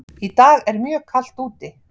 Í dag er mjög kalt úti.